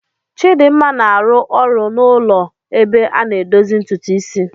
Chidinma na-arụ ọrụ n'ụlọ ebe a na-edozi ntutu isi.